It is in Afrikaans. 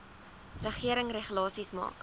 regering regulasies maak